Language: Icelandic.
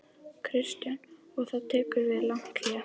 Kristján: Og þá tekur við langt hlé?